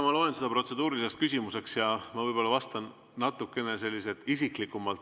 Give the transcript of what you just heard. Ma loen seda protseduuriliseks küsimuseks ja ma vastan teile natuke isiklikumalt.